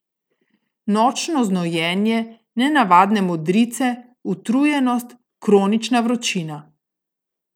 Nočno znojenje, nenavadne modrice, utrujenost, kronična vročina?